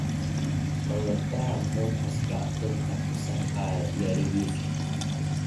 Kondoktaha muxu kasba dhadhka kusarfayo garigisa.